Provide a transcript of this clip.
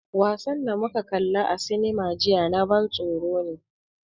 Wasan da muka kalla a cinema jiya na ban tsoro ne.